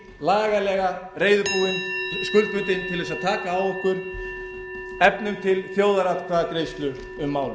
lagalega reiðubúin og skuldbundin til þess að taka á okkur efnum til þjóðaratkvæðagreiðslu um málið